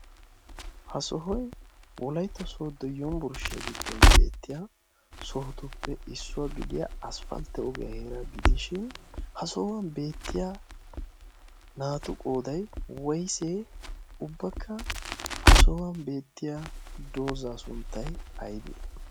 ha sohoi wolaytto sooddo yombburshshiyaa giddon beettiya sohotuppe issuwaa gidiyaa aspfaltte ogiyaa heera gidishin ha sohuwan beettiya naatu qooday woysee ubbakka ha sohuwan beettiya doozaa sunttai aybee?